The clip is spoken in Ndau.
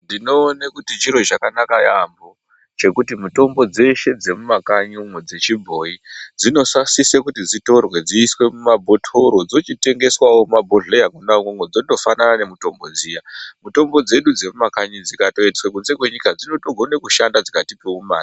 Ndinoone kuti chiro chakanaka yaamho, chekuti mitombo dzeshe dzemumakanyi dzechibhoyi dzinosasise kuti dzitorwe dziiswe mumabhothoro ,dzochitengeswawo mumabhodhleya mwona umwomwo dzotofanana nemitombo dziya. Mitombo dzedu dzemumakanyi dzikatoiswe kunze kwenyika dzinotokone kushanda dzikatipewo mare.